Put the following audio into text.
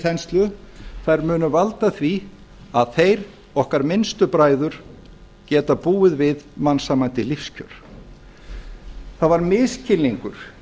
þenslu þær munu valda því að þeir okkar minnstu bræður geta búið við mannsæmandi lífskjör það var misskilningur